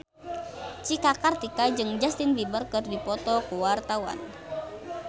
Cika Kartika jeung Justin Beiber keur dipoto ku wartawan